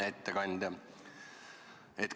Hea ettekandja!